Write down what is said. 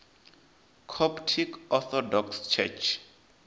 coptic orthodox church